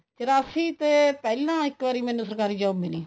ਚਰਾਸੀ ਤੇ ਪਹਿਲਾਂ ਮੈਨੂੰ ਇੱਕ ਵਾਰੀ ਸਰਕਾਰੀ job ਮਿਲੀ